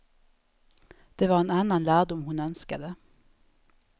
Det var en annan lärdom hon önskade.